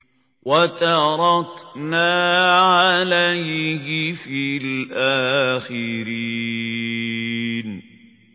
وَتَرَكْنَا عَلَيْهِ فِي الْآخِرِينَ